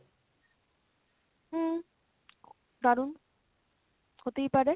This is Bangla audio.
হম দারুন, হতেই পারে।